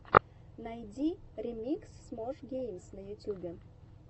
найди ремикс смош геймс на ютьюбе